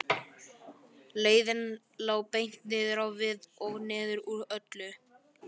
Leiðin lá beint niður á við og niður úr öllu.